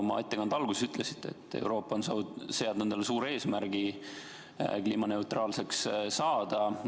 Oma ettekande alguses te ütlesite, et Euroopa on seadnud endale suure eesmärgi kliimaneutraalseks saada.